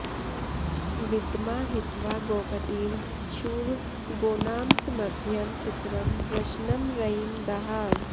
विद्मा हि त्वा गोपतिं शूर गोनामस्मभ्यं चित्रं वृषणं रयिं दाः